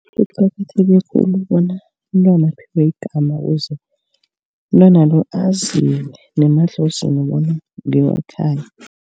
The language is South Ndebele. Kuqakatheke khulu bona umntwana aphiwe igama ukuze umntwana lo aziwe nemadlozini bona ngewekhaya.